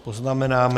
Poznamenáme...